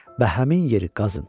Və həmin yeri qazın.